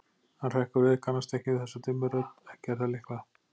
Hann hrekkur við, kannast ekki við þessa dimmu rödd, ekki er það Lykla